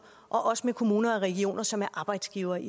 og også med kommuner og regioner som er arbejdsgiverne